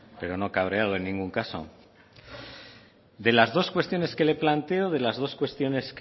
pero no cabreado en ningún caso de las dos cuestiones que le planteo de las dos cuestiones